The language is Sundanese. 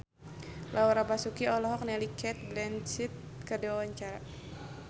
Laura Basuki olohok ningali Cate Blanchett keur diwawancara